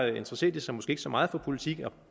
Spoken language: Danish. interesserer de sig måske ikke så meget for politik og